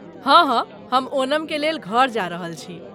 हँ, हँ, हम ओणमके लेल घर जा रहल छी।